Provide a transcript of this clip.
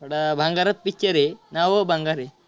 थोडा भंगारच picture आहे नावच भंगार आहे.